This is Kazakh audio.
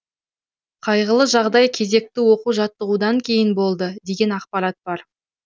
қайғылы жағдай кезекті оқу жаттығудан кейін болды деген ақпарат бар